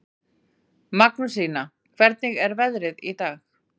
Magnúsína, hvernig er veðrið í dag?